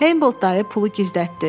“Heybold dayı pulu gizlətdi.